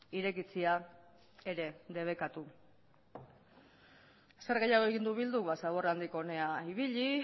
irekitzea ere debekatu zer gehiago egin du bilduk zaborra handik hona ibili